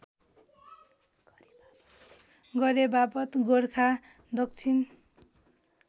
गरेबापत गोरखा दक्षिण